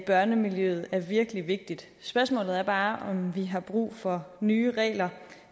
børnemiljøet er virkelig vigtigt spørgsmålet er bare om vi har brug for nye regler